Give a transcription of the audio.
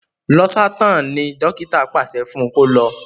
Losartan ní dókítà paṣẹ fún kò lọ.